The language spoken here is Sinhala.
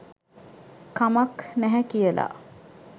කමක් නැහැ කියලා.